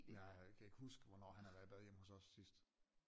Ja jeg kan ikke huske hvornår han har været i bad hjemme hos os sidst